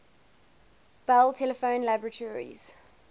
bell telephone laboratories